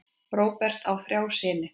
Róbert á þrjá syni.